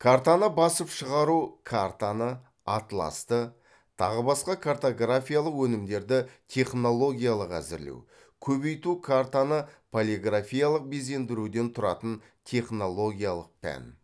картаны басып шығару картаны атласты тағы басқа картографиялық өнімдерді технологиялық әзірлеу көбейту картаны полиграфиялық безендіруден тұратын технологиялық пән